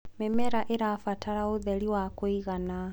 mĩmera irabatara ũtheri wa kũigana